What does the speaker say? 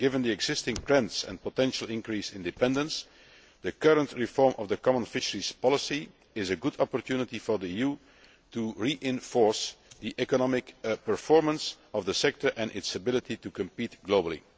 Given the existing trends and potential increase in dependence, the current reform of the common fisheries policy is a good opportunity for the EU to reinforce the economic performance of the sector and its ability to compete globally.